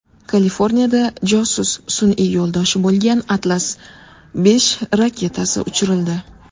Kaliforniyada josus sun’iy yo‘ldoshi bo‘lgan Atlas V raketasi uchirildi .